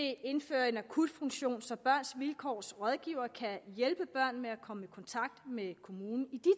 indføre en akutfunktion så børns vilkårs rådgivere kan hjælpe børn med at komme i kontakt med kommunen i